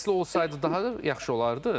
Səsli olsaydı daha yaxşı olardı.